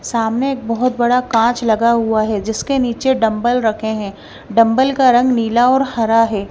सामने एक बहुत बड़ा कांच लगा हुआ है जिसके नीचे डंबल रखे हैं डंबल का रंग नीला और हरा है।